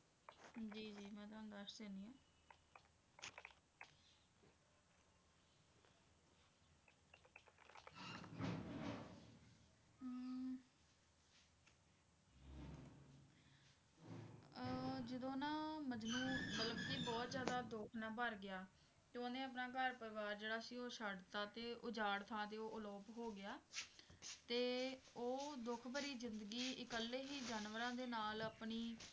ਮਤਲਬ ਕੀ ਬਹੁਤ ਜ਼ਿਆਦਾ ਦੁੱਖ ਨਾਲ ਭਰ ਗਿਆ ਤੇ ਉਹਨੇ ਆਪਣੇ ਘਰ ਪਰਿਵਾਰ ਜਿਹੜਾ ਸੀ ਉਹ ਛੱਡਤਾ ਤੇ ਉਜਾੜ ਥਾਂ ਤੇ ਅਲੋਪ ਹੋ ਗਿਆ ਤੇ ਉਹ ਦੁੱਖਭਰੀ ਜ਼ਿੰਦਗੀ ਇੱਕਲੇ ਹੀ ਜਾਨਵਰਾਂ ਦੇ ਨਾਲ ਆਪਣੀ